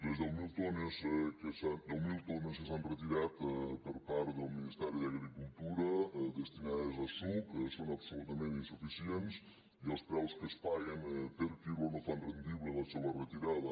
les deu mil tones que s’han retirat per part del ministeri d’agricultura destinades a suc són absolutament insuficients i els preus que es paguen per quilo no fan rendible la seua retirada